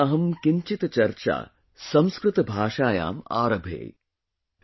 Adya Aham Kinchhit Charcha Sanskrit Bhashayaam Aarabhe